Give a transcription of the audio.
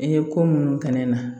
I ye ko minnu kɛ ne na